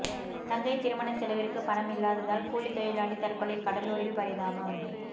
தங்கை திருமண செலவிற்கு பணம் இல்லாததால் கூலி தொழிலாளி தற்கொலை கடலூரில் பரிதாபம்